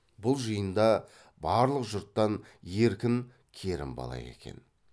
бұл жиында барлық жұрттан еркін керімбала екен